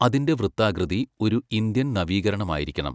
അതിൻ്റെ വൃത്താകൃതി ഒരു ഇന്ത്യൻ നവീകരണമായിരിക്കണം.